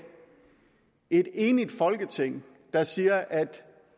et enigt folketing der siger at